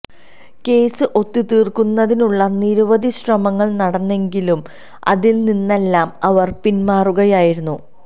case ഒത്തുതീര്ക്കുന്നതിനുള്ള നിരവധി ശ്രമങ്ങള് നടന്നെങ്കിലും അതില് നിന്നെല്ലാം അവര് പിന്മാറുകയായിരുന്നു